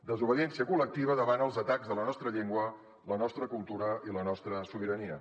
desobediència col·lectiva davant els atacs a la nostra llengua la nostra cultura i la nostra sobirania